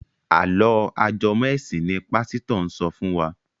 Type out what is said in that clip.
Àlọ́ ajẹmọ́-ẹ̀sìn ni pásítọ̀ ń sọ fún wa.